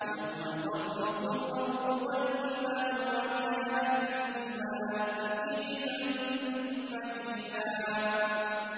يَوْمَ تَرْجُفُ الْأَرْضُ وَالْجِبَالُ وَكَانَتِ الْجِبَالُ كَثِيبًا مَّهِيلًا